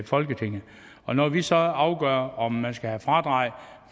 folketinget og når vi så afgør om man skal have fradrag